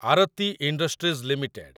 Aarti industries limited